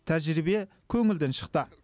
тәжірибе көңілден шықты